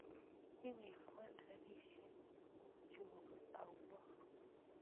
Iwekwon ropisyek chuk auyo?